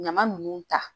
Ɲama nunnu ta